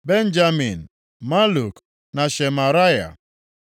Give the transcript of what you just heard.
Benjamin, Maluk na Shemaraya.